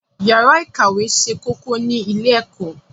Yàrá ìkàwé ṣe kókó ní ilé-ẹ̀kọ́.